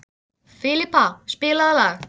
Filippa, spilaðu lag.